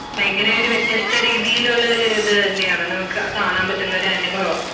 ഭയങ്കര ഒരു വ്യത്യസ്ത രീതിയിൽ ഉള്ള ഒരു ഇത് തന്നെയാണ് നമുക്കു കാണാൻ പറ്റുന്ന ഒരു അനുഭവം